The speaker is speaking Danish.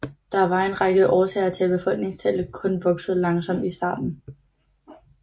Der var en række årsager til at befolkningstallet kun voksede langsomt i starten